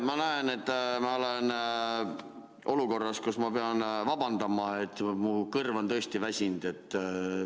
Ma näen, et ma olen olukorras, kus ma pean vabandama, et mu kõrv on tõesti väsinud.